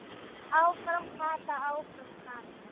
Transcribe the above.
Áfram Kata, áfram Kata!